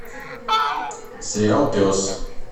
сериал пес